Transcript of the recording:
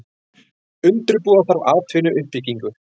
Undirbúa þarf atvinnuuppbyggingu